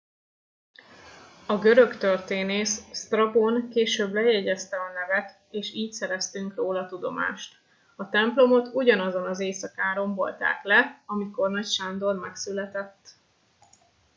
a görög történész sztrabón később lejegyezte a nevet és így szereztünk róla tudomást a templomot ugyanazon az éjszakán rombolták le amikor nagy sándor megszületett